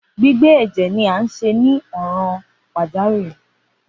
Gbigbe ẹjẹ ni a ṣe ni ọran pajawiri.